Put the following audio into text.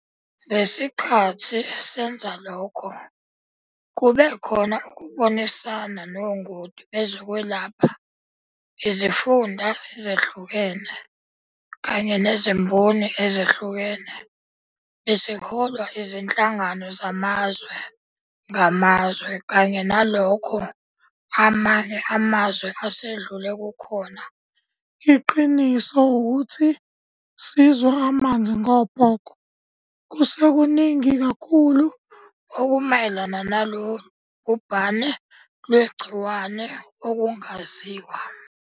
Ngesikhathi senza lokho kube khona ukubonisana nongoti bezokwelapha, izifunda ezehlukene kanye nezimboni ezehlukene. Besiholwa izinhlangano zamazwe ngamazwe kanye nalokho amanye amazwe asedlule kukhona. Iqiniso ukuthi sizwa amanzi ngobhoko. Kusekuningi kakhulu okumayelana nalolu bhubhane lwegciwane okungaziwa.